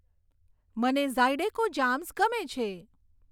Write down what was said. મને zydeco jams ગમે છે